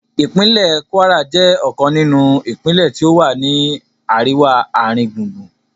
Ìpínlẹ̀ Kwara jẹ́ ọ̀kan nínú ìpínlẹ́ tí ó wà ní àríwá-ààringbùngbùn